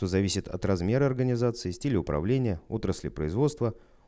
то зависит от размера организации стиля управления отрасли производства